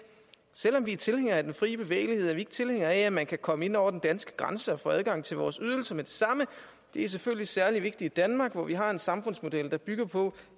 selv om vi er tilhængere af den frie bevægelighed er vi ikke tilhængere af at man kan komme ind over den danske grænse og få adgang til vores ydelser med det samme det er selvfølgelig særligt vigtigt i danmark hvor vi har en samfundsmodel der bygger på